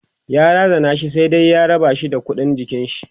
ya razana shi sai da ya rabashi da ƙuɗin jikinshi